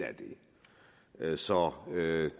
af det så